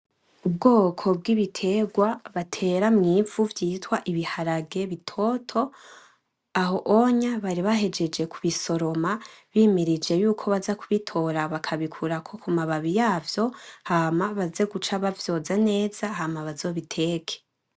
Ubwoko bwibitegwa batera mwivu vyitwa ibiharage bitoto aho uwonya baribahejeje kubisoroma bimirije yuko baza kubitora bakabikura kumababi yavyo hama baze guca bavyoza neza hama bazobiteke.